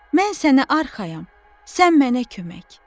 Mən sənə arxayam, sən mənə kömək.